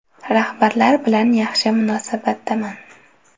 Rahbarlar bilan yaxshi munosabatdaman.